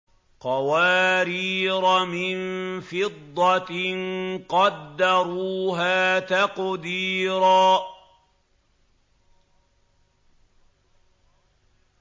قَوَارِيرَ مِن فِضَّةٍ قَدَّرُوهَا تَقْدِيرًا